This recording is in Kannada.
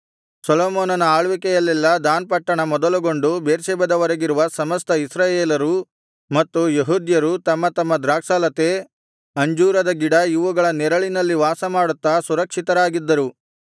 ಸೊಲೊಮೋನನ ಆಳ್ವಿಕೆಯಲ್ಲೆಲ್ಲಾ ದಾನ್ ಪಟ್ಟಣ ಮೊದಲುಗೊಂಡು ಬೇರ್ಷೆಬದವರೆಗಿರುವ ಸಮಸ್ತ ಇಸ್ರಾಯೇಲರೂ ಮತ್ತು ಯೆಹೂದ್ಯರೂ ತಮ್ಮ ತಮ್ಮ ದ್ರಾಕ್ಷಾಲತೆ ಅಂಜೂರದ ಗಿಡ ಇವುಗಳ ನೆರಳಿನಲ್ಲಿ ವಾಸಮಾಡುತ್ತಾ ಸುರಕ್ಷಿತರಾಗಿದ್ದರು